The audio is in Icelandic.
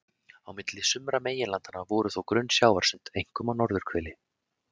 Á milli sumra meginlandanna voru þó grunn sjávarsund, einkum á norðurhveli.